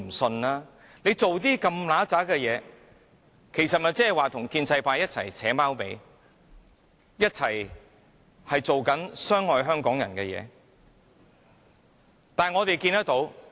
政府做出如此骯髒的事情，其實即是跟建制派一起"扯貓尾"，一起做傷害香港人的事情。